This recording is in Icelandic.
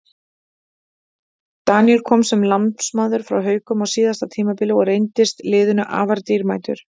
Daníel kom sem lánsmaður frá Haukum á síðasta tímabili og reyndist liðinu afar dýrmætur.